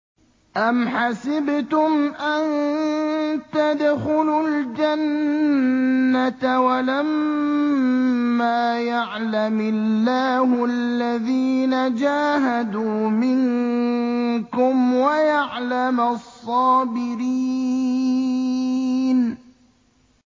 أَمْ حَسِبْتُمْ أَن تَدْخُلُوا الْجَنَّةَ وَلَمَّا يَعْلَمِ اللَّهُ الَّذِينَ جَاهَدُوا مِنكُمْ وَيَعْلَمَ الصَّابِرِينَ